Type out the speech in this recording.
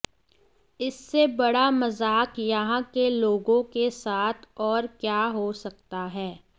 इससे बड़ा मजाक यहां के लोगों के साथ और क्या हो सकता है